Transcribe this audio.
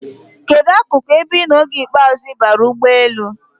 Kedụ akụkụ ebe ị nọ oge ikpeazụ ị baara n'ụgbọelu?